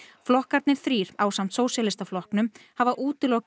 flokkarnir þrír ásamt Sósíalistaflokknum hafa